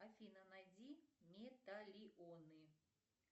афина найди металионы